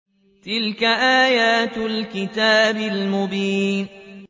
تِلْكَ آيَاتُ الْكِتَابِ الْمُبِينِ